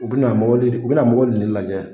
U bɛna mɔgɔli u bɛna mɔgɔli in ne lajɛ.